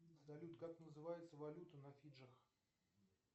салют как называется валюта на фиджах